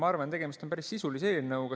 Ma arvan, et tegemist on päris sisulise eelnõuga.